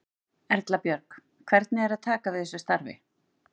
Erla Björg: Hvernig er að taka við þessu starfi?